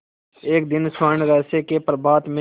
एक दिन स्वर्णरहस्य के प्रभात में